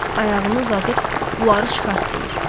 Ayağını uzadıb bunları çıxart deyir.